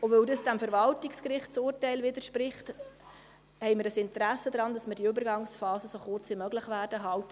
Weil es diesem Verwaltungsgerichtsurteil widerspricht, haben wir ein Interesse daran, die Übergangsphase so kurz wie möglich zu halten.